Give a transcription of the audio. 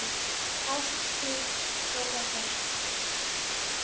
Ást, þín Dóra Björt.